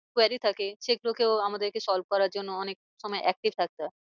Quiry থেকে সে গুলোকেও আমাদেরকে solve করার জন্য অনেক সময় active থাকতে হয়।